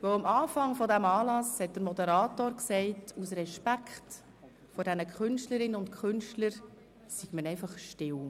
Der Moderator sagte zu Beginn des Anlasses, man sei aus Respekt gegenüber den Künstlerinnen und Künstlern einfach still.